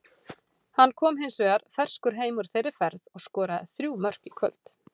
Hann kom hins vegar ferskur heim úr þeirri ferð og skoraði þrjú mörk í kvöld.